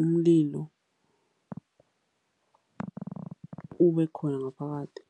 umlilo ubekhona ngaphakathi.